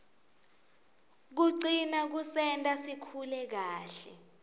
kucina kusenta sikhule kahle